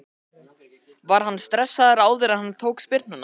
Var hann stressaður áður en hann tók spyrnuna?